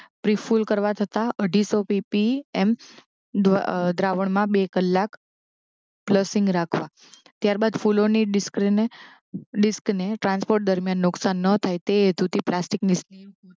ડ્રિપફૂલ કરવા છતાં અઢીસો પી પી એમ દ્વા અ દ્રાવણમાં બે કલાક ફ્લશીંગ રાખવા ત્યારબાદ ફૂલોની ડિસ્કીને ડિસ્ક ને ટ્રાન્સપોર્ટ દરમ્યાન નુક્સાન ન થાય તે હેતુ થી પ્લાસ્ટિક ની